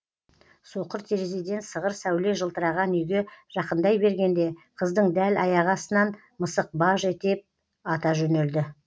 соқыр терезеден сығыр сәуле жылтыраған үйге жақындай бергенде қыздың дәл аяғы астынан мысық баж етіп ата жөнелді